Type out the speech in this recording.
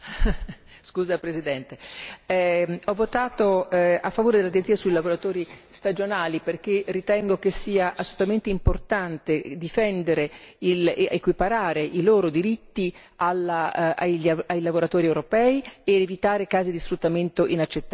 Signora Presidente, ho votato a favore della direttiva sui lavoratori stagionali perché ritengo che sia assolutamente importante difendere ed equiparare i loro diritti ai lavoratori europei per evitare casi di sfruttamento inaccettabili.